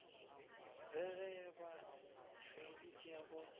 re ge ba feditše go